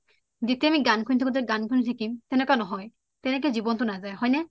যেতিয়া আমি গান শুনি থাকোঁ শুনি এ থাকিম চেনেকুৱা নহয় তেনেকে জীৱনটো নজায় হয় নে